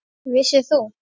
Vissir þú.